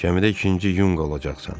Gəmidə ikinci yunqa olacaqsan.